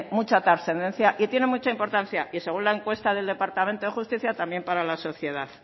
mucha trascendencia y tiene mucha importancia y según la encuesta del departamento de justicia también para la sociedad